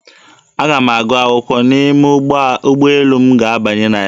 Aga m agụ akwụkwọ n'ime ụgbọelu m ga-aba na ya.